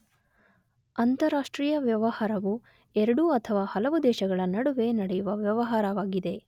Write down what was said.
ಅಂತರಾಷ್ಟ್ರೀಯ ವ್ಯವಹಾರವು ಎರಡು ಅಥವಾ ಹಲವು ದೇಶಗಳ ನಡುವೆ ನಡೆಯುವ ವ್ಯವಹಾರವಾಗಿದೆ.